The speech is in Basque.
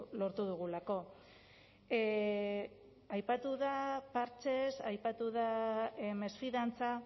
lortu dugulako aipatu da partxez aipatu da mesfidantza